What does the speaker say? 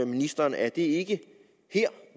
ministeren er det ikke her